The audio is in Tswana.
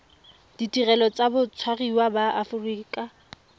ditirelo tsa batshwariwa ba aforika